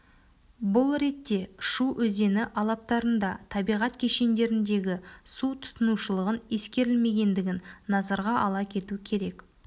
бұл ретте шу өзені алаптарында табиғат кешендеріндегі су тұтынушылығын ескерілмегендігін назарға ала кету керек